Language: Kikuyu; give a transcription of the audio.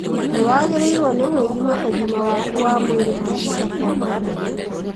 Nĩwagĩrĩirwo nĩ gwĩthima ũgima waku wa mwĩrĩ mahinda kwa mahinda